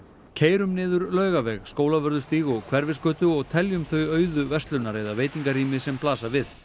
keyrum niður Laugaveg Skólavörðustíg og Hverfisgötu og teljum þau auðu verslunar eða veitingarými sem blasa við